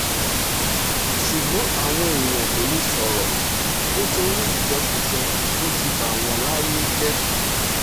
ṣùgbọ́n àwọn èèyàn kò lè sọ̀rọ̀ nítorí ìjẹkújẹ tó ti bà wọ́n láyé jẹ́